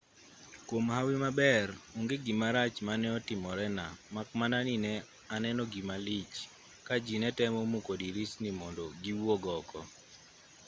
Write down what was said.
kwom hawi maber onge gimarach mane otimorena mak mana ni ne aneno gima lich ka ji ne temo muko dirisni mondo giwuog oko